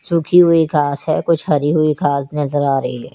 सुखी हुई घास है कुछ हरी हुई घास नज़र आरही है।